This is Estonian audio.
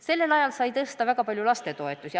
Teiseks sai sellel ajal väga palju tõstetud lastetoetusi.